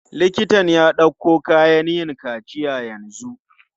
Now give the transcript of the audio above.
Liktan ya ɗauko kayan yin kaciya yanzu.